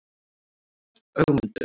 Ögmundur